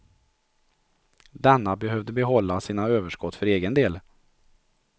Denna behövde behålla sina överskott för egen del.